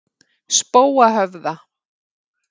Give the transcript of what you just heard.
Spóahöfða